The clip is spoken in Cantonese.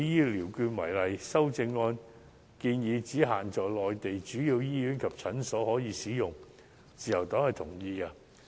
修正案建議醫療券只可以在限定的內地主要醫院及診所使用，自由黨同意此規定。